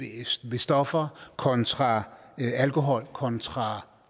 stoffer kontra alkohol kontra